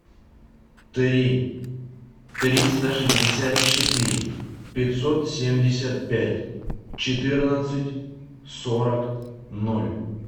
три триста шестьдесят четыре пятьсот семьдесят пять четырнадцать сорок ноль